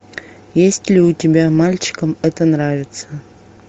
есть ли у тебя мальчикам это нравится